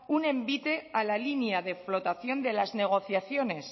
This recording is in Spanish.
un envite a la línea de flotación de las negociaciones